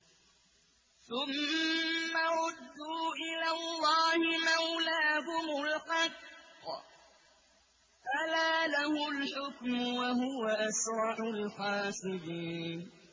ثُمَّ رُدُّوا إِلَى اللَّهِ مَوْلَاهُمُ الْحَقِّ ۚ أَلَا لَهُ الْحُكْمُ وَهُوَ أَسْرَعُ الْحَاسِبِينَ